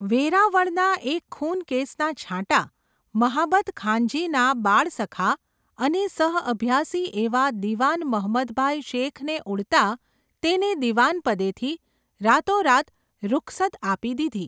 વેરાવળના એક ખૂન કેસના છાંટા, મહાબતખાનજીના બાળસખા, અને સહઅભ્યાસી એવા દિવાન મહંમદભાઈ શેખને ઉડતા, તેમને દિવાનપદેથી, રાતોરાત રૂખસદ આપી દીધી.